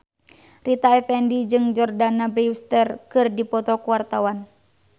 Rita Effendy jeung Jordana Brewster keur dipoto ku wartawan